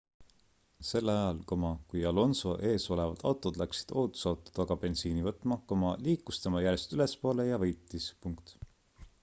sel ajal kui alonso ees olevad autod läksid ohutusauto taga bensiini võtma liikus tema järjest ülespoole ja võitis